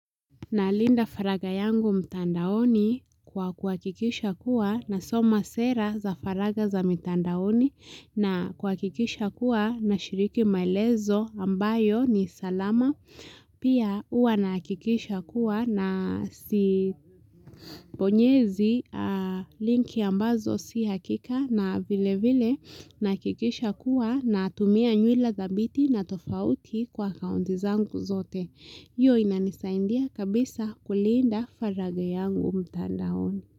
Nalinda faragha yangu mtandaoni kwa kuhakikisha kuwa nasoma sera za faragha za mtandaoni na kuhakikisha kuwa na shiriki maelezo ambayo ni salama. Pia huwa na hakikisha kuwa na si bonyezi linki ambazo si hakika na vile vile na hakikisha kuwa natumia nywila dhabiti na tofauti kwa akaunti zangu zote. Hio inanisaidia kabisa kulinda faragha yangu mtandaoni.